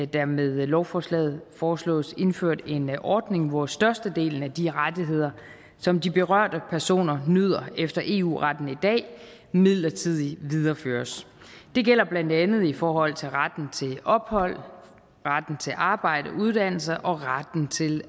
der med lovforslaget foreslås indført en ordning hvor størstedelen af de rettigheder som de berørte personer nyder efter eu retten i dag midlertidigt videreføres det gælder blandt andet i forhold til retten til ophold retten til arbejde og uddannelse og retten til